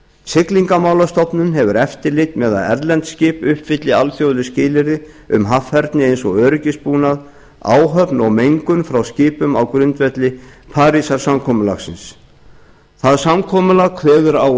siglingamálastofnun hefur eftirlit með að erlend skip uppfylli alþjóðleg skilyrði um haffærni eins og öryggisbúnað áhöfn og mengun frá skipum á grundvelli parísarsamkomulagsins það samkomulag kveður á